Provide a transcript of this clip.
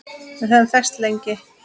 Við höfum þekkst lengi